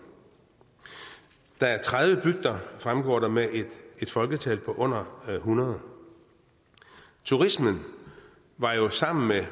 der er tredive bygder fremgår det med et folketal på under hundrede turismen var jo sammen